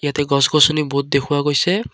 ইয়াতে গছ গছনি বহুত দেখুওৱা গৈছে।